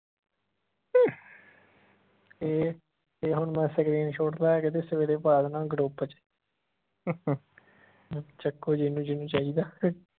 ਇਹ ਇਹ ਹੁਣ ਮੈਂ screenshot ਲੈ ਕੇ ਤੇ ਸਵੇਰੇ ਪਾ ਦੇਣਾ group ਚ ਚੱਕੋ ਜਿਹਨੂੰ ਜਿਹਨੂੰ ਚਾਹੀਦਾ